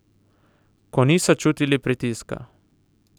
Ko niso čutili pritiska.